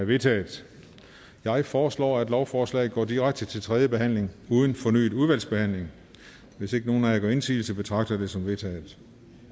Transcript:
vedtaget jeg foreslår at lovforslaget går direkte til tredje behandling uden fornyet udvalgsbehandling hvis ikke nogen af jer gør indsigelse betragter det som vedtaget